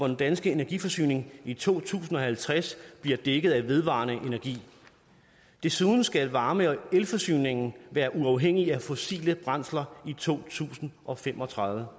den danske energiforsyning i to tusind og halvtreds bliver dækket af vedvarende energi desuden skal varme og elforsyningen være uafhængig af fossile brændsler i to tusind og fem og tredive